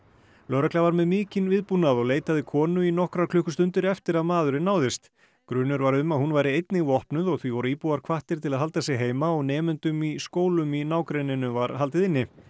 lögregla var með mikinn viðbúnað og leitaði konu í nokkrar klukkustundir eftir að maðurinn náðist grunur var um að hún væri einnig vopnuð og því voru íbúar hvattir til að halda sig heima og nemendum í skólum í nágrenninu var haldið inni